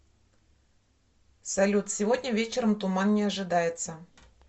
салют сегодня вечером туман не ожидается